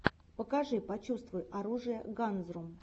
покажи почувствуй оружие ганзрум